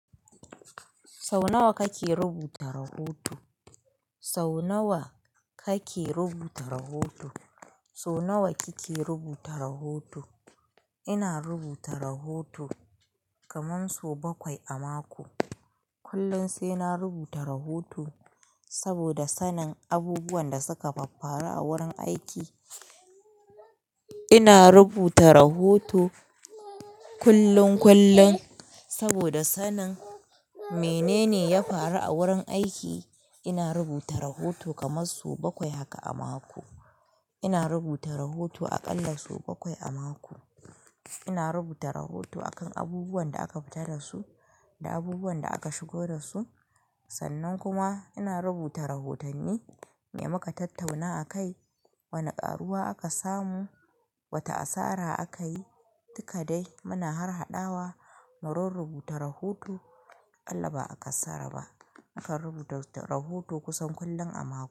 Sau nawa kake rubuta rahoto? Sau nawa kake rubuta rahoto? Sau nawa kike rubuta rahoto? Ina rubuta rahoto kaman so bakwai a mako. Kullum sai na rubuta rahoto saboda sanin abubuwan da suka faffaru a wurin aiki. Ina rubuta rahoto kullum, kullum saboda sanin menene ya faru a wurin aiki. Ina rubuta rahoto kaman so bakwai haka a mako. Ina rubuta rahoto a ƙalla so bakwai a mako. Ina rubuta rahoto akan abubuwan da aka fita da su da abubuwan da aka shigo da su. Sannan kuma ina rubuta rahotanni me muka tattauna akai, wane ƙaruwa aka samu, wata asara aka yi, dukka dai muna harhaɗawa mu rurruɓuta rahoto. Akalla ba a kassara ba. Mukan rubuta rahoto kusan kullum a mako.